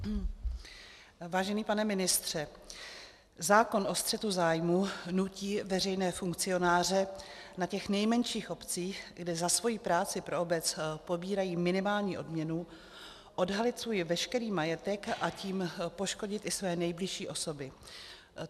Vážený pane ministře, zákon o střetu zájmů nutí veřejné funkcionáře na těch nejmenších obcích, kde za svoji práci pro obec pobírají minimální odměnu, odhalit svůj veškerý majetek, a tím poškodit i své nejbližší osoby.